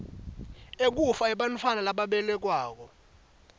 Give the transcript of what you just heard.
ekufa kwebantfwana lababelekwako